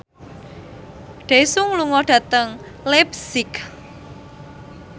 Daesung lunga dhateng leipzig